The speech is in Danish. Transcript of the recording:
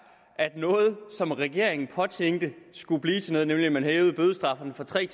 at noget som regeringen påtænkte skulle blive til noget nemlig at man hævede bødestraffen fra tre